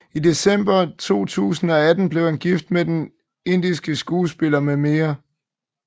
I december 2018 blev han gift med den indiske skuespiller mm